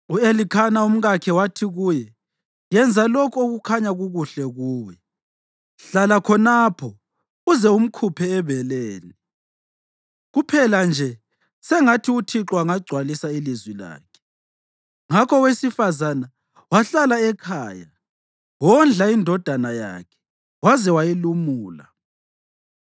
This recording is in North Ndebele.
U-Elikhana umkakhe wathi kuye, “Yenza lokho okukhanya kukuhle kuwe. Hlala khonapho uze umkhuphe ebeleni; kuphela nje sengathi uThixo angagcwalisa ilizwi lakhe.” Ngakho owesifazane wahlala ekhaya wondla indodana yakhe waze wayilumula.